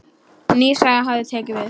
Ný saga hafi tekið við.